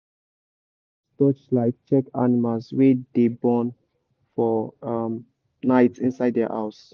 we dey use torchlight check animals wey dey born for um night inside their house.